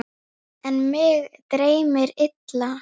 En mig dreymdi illa.